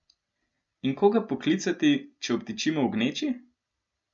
In koga poklicati, če obtičimo v gneči?